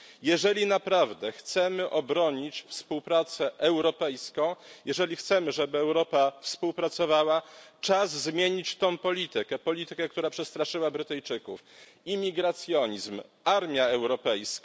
Jeżeli naprawdę chcemy obronić współpracę europejską, jeżeli chcemy, żeby Europa współpracowała, czas zmienić tę politykę, politykę, która przestraszyła Brytyjczyków. Imigracjonizm, armia europejska...